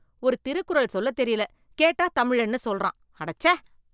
ஒரு திருக்குறள் சொல்ல தெரியல கேட்டா தமிழன்னு சொல்றான், அடச்சே.